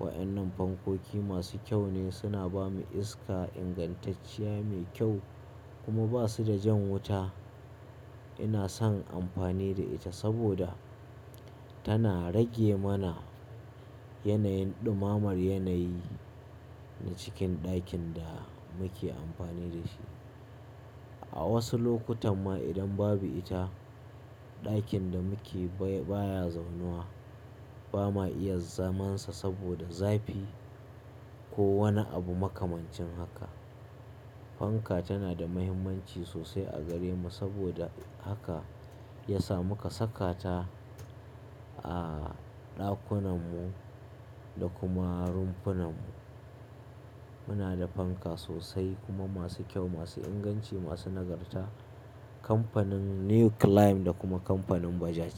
Wa'annan fankoki masu kyau ne. Suna ba mu iska, ingantacciya mai kyau kuma ba su da jan wuta. Ina son amfani da ita saboda tana rage mana yanayin ɗumamar yanayi na cikin ɗakin da muke amfani da shi. A wasu lokutan ma idan babu ita, ɗakin da muke baya zaunuwa ba ma iya zamansa saboda zafi ko wani abu makamancin haka. Fanka tana da mahimmanci sosai a gare mu saboda haka ya sa muka saka ta a ɗakunan mu da kuma rumfunan mu. Muna da fanka sosai kuma masu kyau, masu inganci, masu nagarta. Kamfanin New Climb da kuma kamfanin Bajaj.